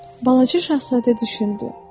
Balaca Şahzadə düşündü.